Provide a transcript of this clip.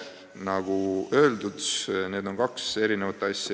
" Nagu öeldud, need on kaks erinevat asja.